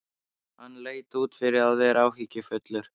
Hann leit út fyrir að vera áhyggjufullur.